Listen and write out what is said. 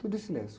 Tudo em silêncio.